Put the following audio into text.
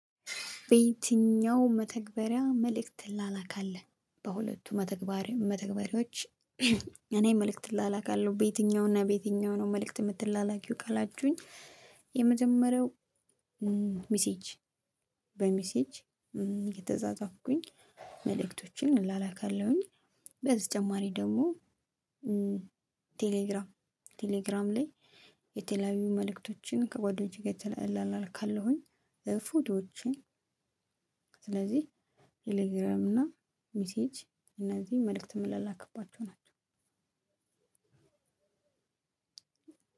በየትኛው መተግበሪያ መልእክት ትላላካለህ በሁለቱ መተግበሪያ መተግበሪያዎች። እኔ መልእክት እላላካለሁ በየትኛው እና በየትኛው ነው? መልእክት ምትላላኪው ካላችሁኝ የመጀመሪያው ሚሴጅ በሚሴጅ እየተፃፃፍኩኝ መልእክቶችን እላላካለሁኝ። በተጨማሪ ደግሞ ቴሌግራም ቴሌግራም ላይ የተለያዩ መልእክቶችን ከጓደኞቼ ጋር እላላካለሁኝ። ፎቶዎችን ስለዚህ ቴሌግራም እና ሚሴጅ እነዚህ መልእክት ምላላክባቸው ናቸው።